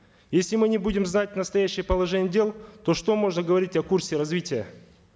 если мы не будем знать настоящее положение дел то что можно говорить о курсе развития